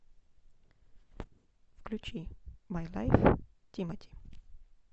включи май лайф тимати